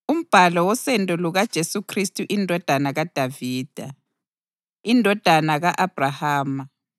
Umbhalo wosendo lukaJesu Khristu indodana kaDavida, indodana ka-Abhrahama: